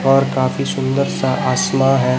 और काफी सुंदर सा आसमां है।